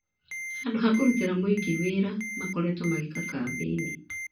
Handũ ha kũrũtĩra mũingĩ wĩra makoretwo magĩĩka kambĩini